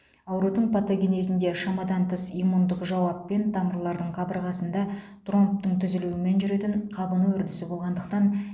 аурудың патогенезінде шамадан тыс иммундық жауап пен тамырлардың қабырғасында тромбтың түзілуімен жүретін қабыну үрдісі болғандықтан